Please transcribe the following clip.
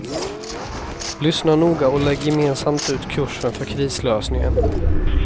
Lyssna noga och lägg gemensamt ut kursen för krislösningen.